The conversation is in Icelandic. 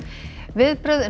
viðbrögð